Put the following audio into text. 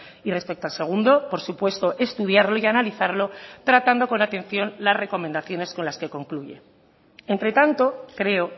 y respecto al segundo por supuesto estudiarlo y analizarlo tratando con atención las recomendaciones con las que concluye entre tanto creo